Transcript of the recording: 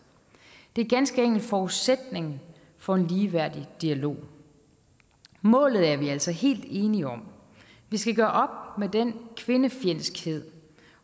det er ganske enkelt forudsætningen for en ligeværdig dialog målet er vi altså helt enige om vi skal gøre op med den kvindefjendskhed